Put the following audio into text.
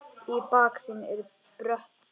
Í baksýn eru brött fjöll.